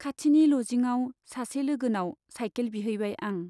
खाथिनि लजिंआव सासे लोगोनाव साइकेल बिहैबाय आं।